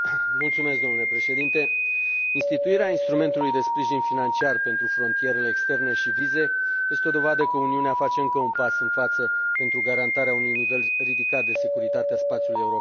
Domnule președinte, instituirea instrumentului de sprijin financiar pentru frontierele externe și vize este o dovadă că Uniunea face încă un pas în față pentru garantarea unui nivel ridicat de securitate a spațiului european.